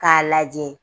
K'a lajɛ